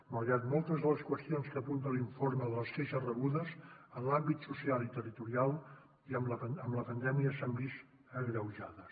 malgrat que moltes de les qüestions que apunta l’informe de les queixes rebudes en l’àmbit social i territorial amb la pandèmia s’han vist agreujades